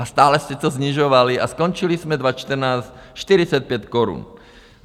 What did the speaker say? A stále jste to snižovali a skončili jsme 2014 45 korun.